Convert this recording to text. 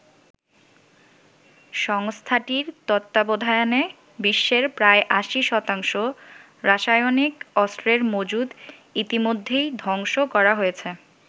সংস্থাটির তত্ত্বাবধানে বিশ্বের প্রায় ৮০ শতাংশ রাসায়নিক অস্ত্রের মজুত ইতিমধ্যেই ধ্বংস করা হয়েছে।